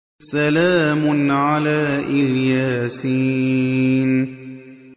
سَلَامٌ عَلَىٰ إِلْ يَاسِينَ